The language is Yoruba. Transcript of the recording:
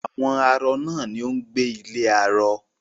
Àwọn arọ ni ó ń gbé ilé arọ